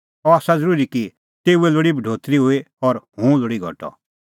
अह आसा ज़रूरी कि तेऊए लोल़ी बढोतरी हुई और हुंह लोल़ी घटअ